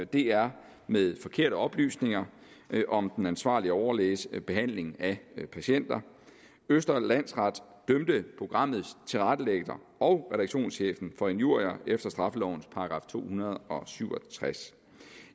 dr med forkerte oplysninger om den ansvarlige overlæges behandling af patienter østre landsret dømte programmets tilrettelægger og redaktionschefen for injurier efter straffelovens § to hundrede og syv og tres